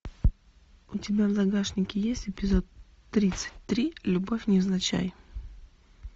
у тебя в загашнике есть эпизод тридцать три любовь невзначай